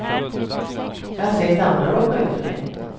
Jag har sett andra råka ut för det.